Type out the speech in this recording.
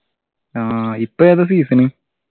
ആഹ് ഇപ്പൊ ഏതാ season